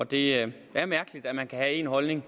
det er mærkeligt at man kan have en holdning og